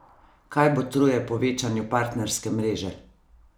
Kaj botruje povečanju partnerske mreže?